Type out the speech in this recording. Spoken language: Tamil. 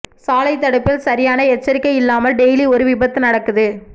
சாலை தடுப்பில் சரியான எச்சரிக்கை இல்லாமல் டெய்லி ஒரு விபத்து நடக்குது